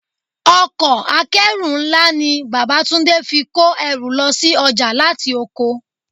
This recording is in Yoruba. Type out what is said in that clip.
Ọkọ̀ akeru ńlá ni bàbá Túndé fi kó ẹrù lọ sí ọjà láti oko.